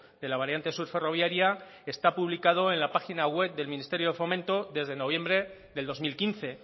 de la variante sur ferroviaria está publicado en la página web del ministerio de fomento desde noviembre del dos mil quince